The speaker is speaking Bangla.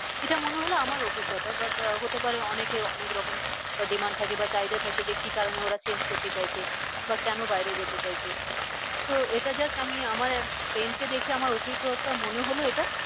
এটা মনে হলো আমার অভিজ্ঞতা but আহ হতে পারে অনেকে অনেক রকম demand থাকে বা চাহিদা থাকে যে কি কারণে ওরা change করতে চাইছে? বা কেন বাইরে যেতে চাইছে? তো এটা just আমি আমার এক friend কে দেখে মনে হলো আমার অভিজ্ঞতা মনে হলো এটা।